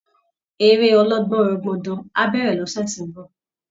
Eré ọlọ́gbọnrangandan á bẹ̀rẹ̀ lọ́sẹ̀ tó ń bọ̀